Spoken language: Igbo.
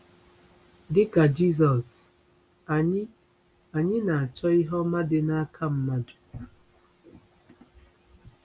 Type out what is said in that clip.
Dị ka Jizọs, anyị anyị na-achọ ihe ọma dị n’aka mmadụ.